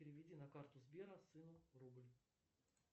переведи на карту сбера сыну рубль